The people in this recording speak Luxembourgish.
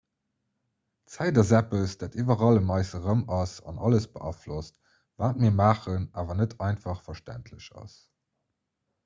zäit ass eppes dat iwwerall ëm eis erëm ass an alles beaflosst wat mir maachen awer net einfach verständlech ass